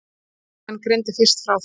Bylgjan greindi fyrst frá þessu.